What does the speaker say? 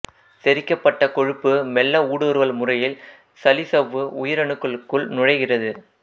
செரிக்கப்பட்ட கொழுப்பு மெல்ல ஊடுறுவல் முறையில் சளிச்சவ்வு உயிரணுக்களுக்குள் நுழைகிறது